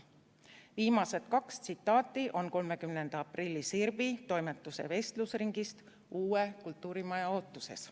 " Viimased kaks tsitaati on 30. aprilli Sirbi toimetuse vestlusringist "Uue kultuurimaja ootuses".